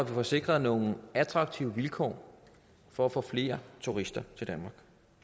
får sikret nogle attraktive vilkår for at få flere turister til danmark